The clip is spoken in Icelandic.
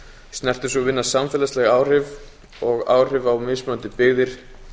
snertir sú vinna samfélagsleg áhrif og áhrif á mismunandi byggðir